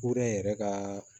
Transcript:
Ko ne yɛrɛ ka